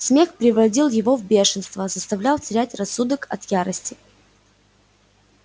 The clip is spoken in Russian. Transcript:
смех приводил его в бешенство заставлял терять рассудок от ярости